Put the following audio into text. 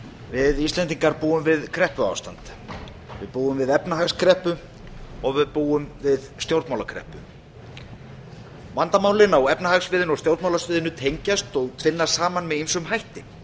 við íslendingar búum við kreppuástand við búum við efnahagskreppu og við búum við stjórnmálakreppu vandamálin á efnahagssviðinu og stjórnmálasviðinu tengjast og tvinnast saman með ýmsum hætti